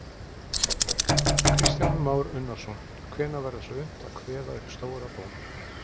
Kristján Már Unnarsson: Hvenær verður svo unnt að kveða upp stóra dóm?